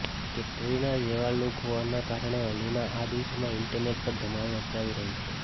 કેટરીના જેવો લુક હોવાના કારણે અલીના આ દિવસોમાં ઈન્ટરનેટ પર ધમાલ મચાવી રહી છે